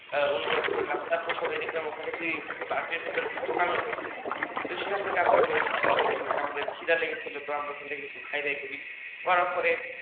আহ অনুভব করলাম তারপর দেখলাম ওখানে park র ভেতর একটা দোকান ও রয়েছে সেখান থেকে আমরা কিছু আমাদের খিদা লেগেছিল আমরা ওখান থেকে কিছু খাই দাই করি করার পরে